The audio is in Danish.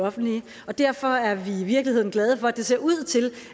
offentlige derfor er vi i virkeligheden glade for at det ser ud til